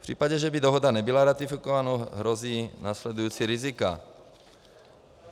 V případě, že by dohoda nebyla ratifikována, hrozí následující rizika.